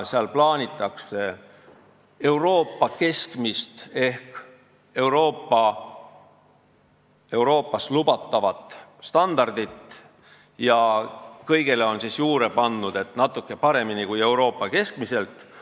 Seal plaanitakse Euroopa keskmist ehk Euroopas lubatavat standardit ja kõigele on juurde pandud, et natukene paremini kui Euroopas keskmiselt.